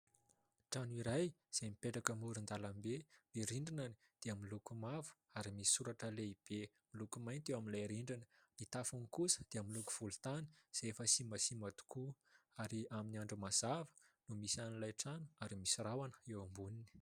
Trano iray izay mipetraka amoron-dalambe. Ny rindrina dia miloko mavo ary misy soratra lehibe miloko mainty eo amin'ilay rindrina, ny tafony kosa dia miloko volontany izay efa simbasimba tokoa ary amin'ny andro mazava no misy an'ilay trano ary misy rahona eo amboniny.